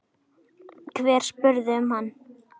Hver spyr um hana?